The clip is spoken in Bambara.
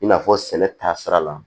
I n'a fɔ sɛnɛ taa sira la